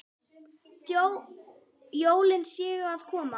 Þó jólin séu að koma.